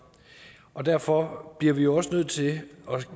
og derfor bliver vi jo også nødt til at